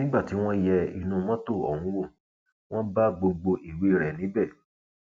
nígbà tí wọn yẹ inú mọtò ọhún wò wọn bá gbogbo ìwé rẹ níbẹ